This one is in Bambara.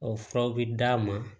O furaw bɛ d'a ma